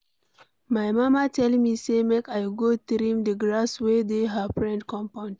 My mama tell me say make I go trim de grass wey dey her friend compound.